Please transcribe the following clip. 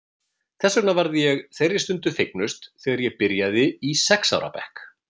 Þess vegna varð ég þeirri stund fegnust þegar ég byrjaði í sex ára bekk.